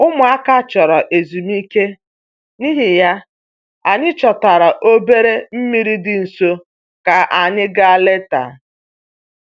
Ụmụaka chọrọ ezumike, n'ihi ya, anyị chọtara obere mmiri dị nso ka anyị gaa leta